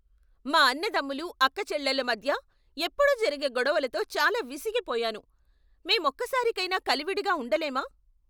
మా అన్నదమ్ములు, అక్కచెల్లెళ్ళ మధ్య ఎప్పుడూ జరిగే గొడవలతో చాలా విసిగిపోయాను. మేం ఒక్కసారికైనా కలివిడిగా ఉండలేమా?